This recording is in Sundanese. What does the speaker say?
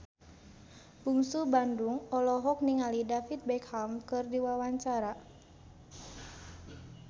Bungsu Bandung olohok ningali David Beckham keur diwawancara